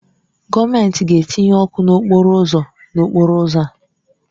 Gọọmentị ga-etinye ọkụ n'okporo ụzọ n'okporo ụzọ a.